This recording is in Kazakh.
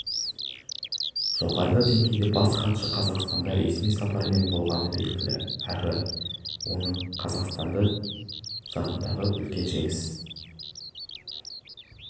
жоғары деңгейде бас хатшы қазақстанда ресми сапармен болғаны белгілі әрі оның қазақстанды жақындағы үлкен жеңісі